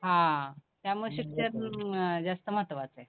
हं त्यामुळं, शिक्षण अं जास्त महत्वाचं आहे.